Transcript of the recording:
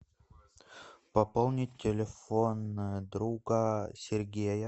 пополнить телефон друга сергея